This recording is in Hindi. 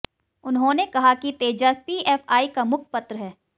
उन्होंने कहा कि तेजस पीएफआई का मुखपत्र है